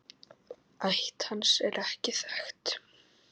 Ætt hans er ekki þekkt.